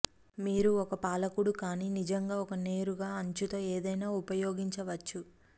మీరు ఒక పాలకుడు కానీ నిజంగా ఒక నేరుగా అంచు తో ఏదైనా ఉపయోగించవచ్చు